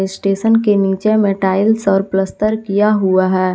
Station के नीचे में टाइल्स और पलस्तर किया हुआ है।